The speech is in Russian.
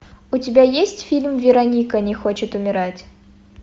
у тебя есть фильм вероника не хочет умирать